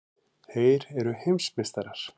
Þeir eru heimsmeistarar!!!